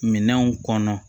Minɛnw kɔnɔ